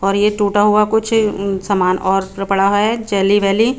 और ये टुटा हुआ कुछ सामान अस्त्र पड़ा है चेली वेली--